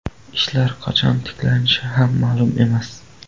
Ishlar qachon tiklanishi ham ma’lum emas.